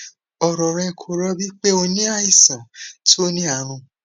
ọrọ rẹ kò rọbí pe o ní àìsàn tó ní àrùn